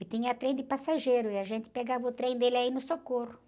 E tinha trem de passageiro, e a gente pegava o trem dele aí no Socorro.